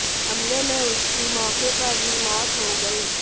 हमले में उसकी मौके पर ही मौत हो गयी